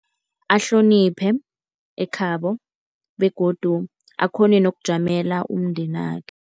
Ahloniphe ekhabo begodu akghone nokujamela umndenakhe.